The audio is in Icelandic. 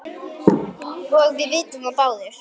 og við vitum það báðir.